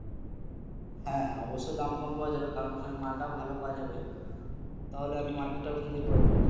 হ্যা হ্যা অবশ্যই কম পাওয়া যাবে কারণ ওখানে মালটাও ভালো পাওয়া যাবে তাহলে market ওখান থেকে করে নেবো।